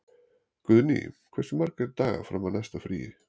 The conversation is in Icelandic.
Guðný, hversu margir dagar fram að næsta fríi?